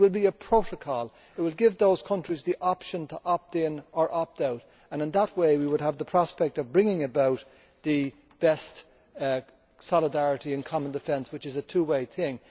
It will be a protocol. It will give those countries the option to opt in or opt out and in that way we would have the prospect of bringing about the best solidarity and common defence, which is a two way thing.